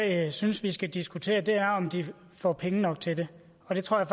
jeg synes vi skal diskutere er om de får penge nok til det og det tror jeg